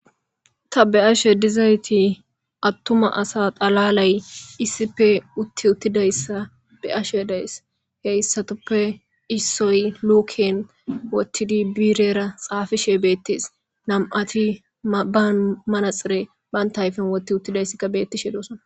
ta be ashe dizayti attuma asa xalalay iisipe utti uttidayssa be ashe daes heyssatoppe issoy luken wottidi biirera xaafishe beettes nam7ati ba manaxire bantaayfen wotti uttidayssikka beettishe doosan